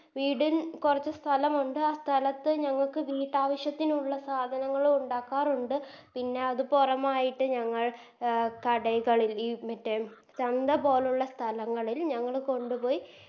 വീടിൻ കൊറച്ച് സ്ഥലമുണ്ട് ആ സ്ഥലത്ത് ഞങ്ങക്ക് വീട്ടാവശ്യത്തിന് ഉള്ള സാധനങ്ങളു ഉണ്ടാക്കാറുണ്ട് പിന്ന അത് പുറമായിട്ട് ഞങ്ങൾ അഹ് കടകളിൽ ഈ മറ്റേ ചന്തപോലുള്ള സ്ഥലങ്ങളിൽ ഞങ്ങൾ കൊണ്ടുപോയി